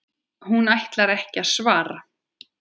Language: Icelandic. Hún ætlar ekki að svara.